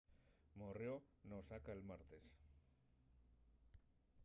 morrió n’osaka'l martes